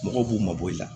Mɔgɔw b'u mabɔ i la